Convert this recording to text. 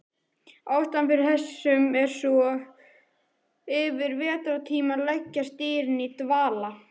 Ástæðan fyrir þessu er sú að yfir vetrartímann leggjast dýrin í dvala.